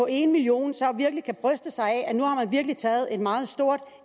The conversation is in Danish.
en million så kan bryste sig af virkelig taget et meget stort